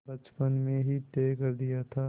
बचपन में ही तय कर दिया था